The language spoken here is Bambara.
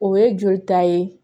O ye jolita ye